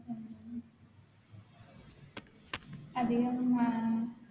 അതികം അഹ്